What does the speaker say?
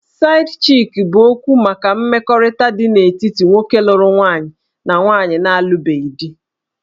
Side-chick' bụ okwu maka mmekọrịta dị n'etiti nwoke lụrụ nwaanyị na nwaanyị na-alụbeghị di